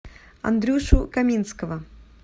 андрюшу каминского